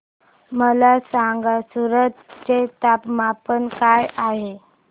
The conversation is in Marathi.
मला सांगा सूरत चे तापमान काय आहे